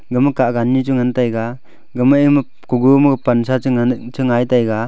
gama kahgan nu chu ngan taiga gama ema kugo ma pansa che ngan che ngai taiga.